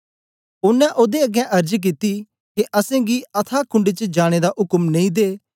ओनें ओदे अगें अर्ज कित्ती के असेंगी अथाह कुंड च जाने दा उक्म नेई दे